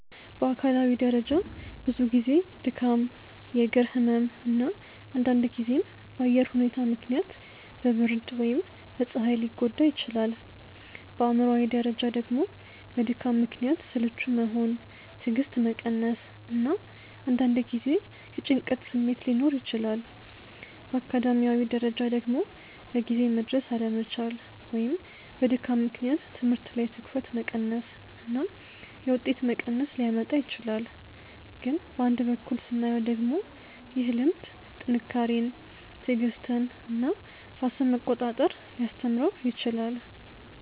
በአካላዊ ደረጃ ብዙ ጊዜ ድካም፣ የእግር ህመም እና አንዳንድ ጊዜም በአየር ሁኔታ ምክንያት በብርድ ወይም በፀሐይ ሊጎዳ ይችላል። በአእምሯዊ ደረጃ ደግሞ በድካም ምክንያት ስልቹ መሆን፣ ትዕግስት መቀነስ እና አንዳንድ ጊዜ የጭንቀት ስሜት ሊኖር ይችላል። በአካዳሚያዊ ደረጃ ደግሞ በጊዜ መድረስ አለመቻል ወይም በድካም ምክንያት ትምህርት ላይ ትኩረት መቀነስ እና የውጤት መቀነስ ሊያመጣ ይችላል። ግን በአንድ በኩል ስናየው ደግሞ ይህ ልምድ ጥንካሬን፣ ትዕግስትን እና ራስን መቆጣጠር ሊያስተምረው ይችላል